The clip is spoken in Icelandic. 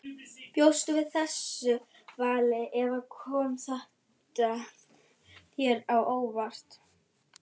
Bjóstu við þessu vali eða kom þetta þér á óvart?